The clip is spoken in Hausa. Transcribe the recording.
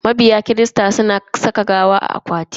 Mabiya kirista suna saka gawa a akwati kafin a binne.